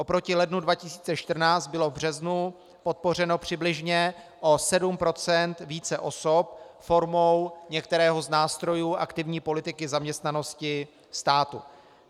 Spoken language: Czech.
Oproti lednu 2014 bylo v březnu podpořeno přibližně o 7 % více osob formou některého z nástrojů aktivní politiky zaměstnanosti státu.